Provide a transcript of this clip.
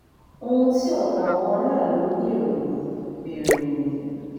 ohun tí ọ̀pọ̀ àwọn aráàlú ń béèrè nìyí béèrè nìyí